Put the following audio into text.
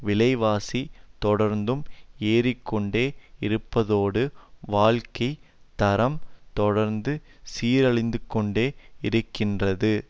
விலைவாசி தொடர்ந்தும் ஏறிக்கொண்டே இருப்பதோடு வாழ்க்கை தரம் தொடர்ந்தும் சீரழிந்துகொண்டே இருக்கின்றது